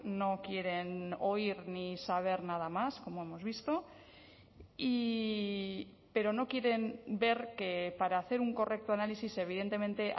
no quieren oír ni saber nada más como hemos visto y pero no quieren ver que para hacer un correcto análisis evidentemente